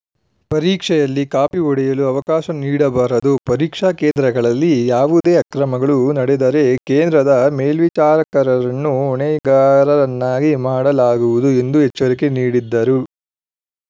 ಪರೀಕ್ಷೆಯಲ್ಲಿ ಕಾಪಿ ಹೊಡೆಯಲು ಅವಕಾಶ ನೀಡಬಾರದು ಪರೀಕ್ಷಾ ಕೇಂದ್ರಗಳಲ್ಲಿ ಯಾವುದೇ ಅಕ್ರಮಗಳು ನಡೆದರೆ ಕೇಂದ್ರದ ಮೇಲ್ವಿಚಾರಕರನ್ನು ಹೊಣೆಗಾರರನ್ನಾಗಿ ಮಾಡಲಾಗುವುದು ಎಂದು ಎಚ್ಚರಿಕೆ ನೀಡಿದರು